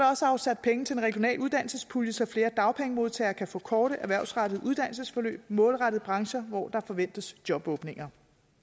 også afsat penge til en regional uddannelsespulje så flere dagpengemodtagere kan få korte erhvervsrettede uddannelsesforløb målrettet brancher hvor der forventes jobåbninger